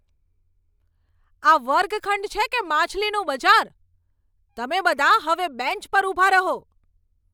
આ વર્ગખંડ છે કે માછલીનું બજાર? તમે બધા હવે બેન્ચ પર ઊભા રહો!